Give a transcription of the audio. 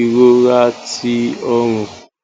irora ti ọrùn